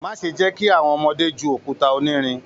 Má ṣe jẹ kí àwọn ọmọdé jù òkúta onírin!